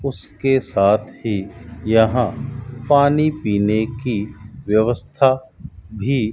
उसके साथ ही यहां पानी पीने की व्यवस्था भी --